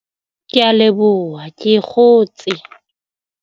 Ke a leboha ke kgotse.